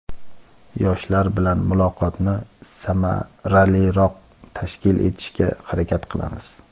yoshlar bilan muloqotni samaraliroq tashkil etishga harakat qilamiz.